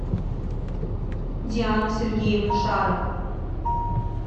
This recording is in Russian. диану сергеевну шарову